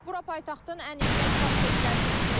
Bura paytaxtın ən işlək prospektlərindən biridir.